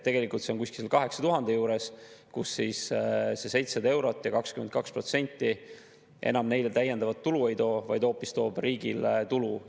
Tegelikult see on umbes 8000 euro juures, kus see 700 eurot ja 22% neile enam täiendavat tulu ei too, vaid toob hoopis riigile tulu.